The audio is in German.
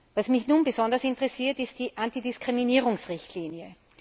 Was mich nun besonders interessiert ist die Antidiskriminierungsrichtlinie.